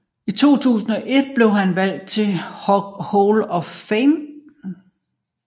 I 2001 blev han valgt ind i Hockey Hall of Fame